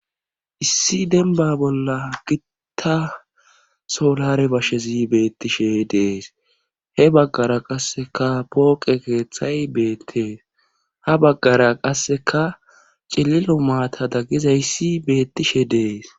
Issi denba bolla gitta solare bashshezi beettishe dees he baggara qasseka pooqe keeththay beettees ha baggara qasseka cililo maata daggizayssi beettishe dees.